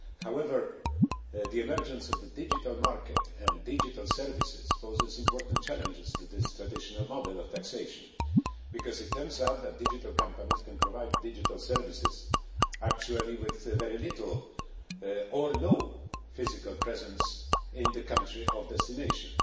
However, the emergence of the digital market and digital services poses important challenges to this traditional model of taxation, because it turns out that digital companies can provide digital services actually with very little or no physical presence in the country of destination.